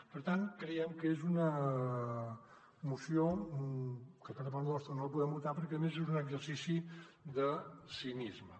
per tant creiem que és una moció que per part nostra no la podem votar perquè a més és un exercici de cinisme